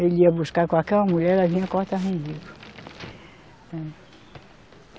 Ele ia buscar qualquer uma mulher e ela vinha cortava o umbigo.